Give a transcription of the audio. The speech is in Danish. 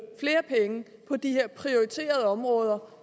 flere penge på de her prioriterede områder